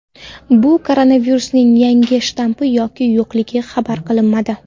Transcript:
Bu koronavirusning yangi shtammi yoki yo‘qligi xabar qilinmadi.